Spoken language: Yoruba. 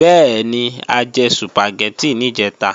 Bẹ́ẹ̀ni, a jẹ Sùpàgẹ́tì níjẹ̀ta